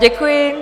Děkuji.